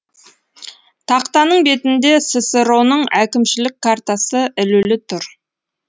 тақтаның бетінде ссро ның әкімшілік картасы ілулі тұр